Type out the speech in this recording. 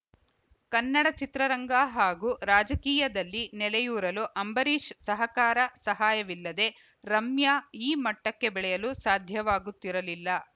ಕನ್ನಡ ಚಿತ್ರರಂಗ ಹಾಗೂ ರಾಜಕೀಯದಲ್ಲಿ ನೆಲೆಯೂರಲು ಅಂಬರೀಶ್‌ ಸಹಕಾರ ಸಹಾಯವಿಲ್ಲದೆ ರಮ್ಯಾ ಈ ಮಟ್ಟಕ್ಕೆ ಬೆಳೆಯಲು ಸಾಧ್ಯವಾಗುತ್ತಿರಲಿಲ್ಲ